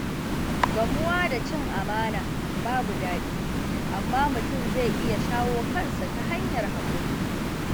Gamuwa da cin amana babu daɗi, amma mutum zai iya shawo kansa ta hanyar haƙuri.